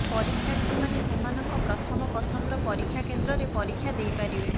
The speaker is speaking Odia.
ପରୀକ୍ଷାର୍ଥୀମାନେ ସେମାନଙ୍କ ପ୍ରଥମ ପସନ୍ଦର ପରୀକ୍ଷା କେନ୍ଦ୍ରରେ ପରୀକ୍ଷା ଦେଇପାରିବେ